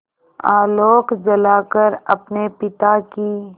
आलोक जलाकर अपने पिता की